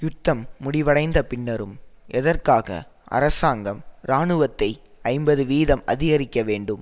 யுத்தம் முடிவடைந்த பின்னரும் எதற்காக அரசாங்கம் இராணுவத்தை ஐம்பது வீதம் அதிகரிக்க வேண்டும்